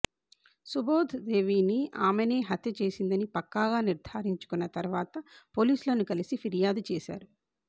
సుబోధ్ దేవిని ఆమెనే హత్య చేసిందని పక్కాగా నిర్ధారించుకున్న తర్వాత పోలీసులును కలిసి ఫిర్యాదు చేశారు